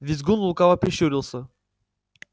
визгун лукаво прищурился